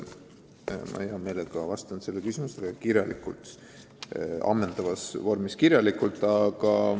Ma hea meelega vastan sellele küsimusele kirjalikult.